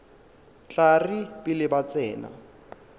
tla re pele ba tsena